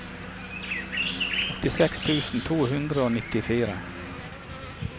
åttiseks tusen to hundre og nittifire